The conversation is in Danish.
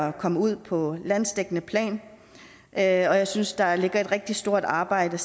at komme ud på landsdækkende plan og jeg synes der stadig væk ligger et rigtig stort arbejde